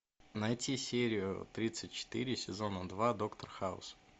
найти серию тридцать четыре сезона два доктор хаус